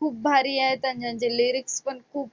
खूप भारी आहेत अन ज्यांचे lyrics पण खूप